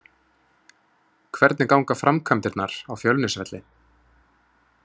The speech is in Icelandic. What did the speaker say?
Hvernig ganga framkvæmdirnar á Fjölnisvelli?